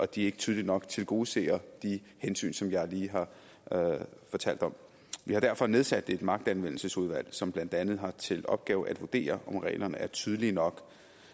de ikke tydeligt nok tilgodeser de hensyn som jeg lige har fortalt om vi har derfor nedsat et magtanvendelsesudvalg som blandt andet har til opgave at vurdere om reglerne er tydelige nok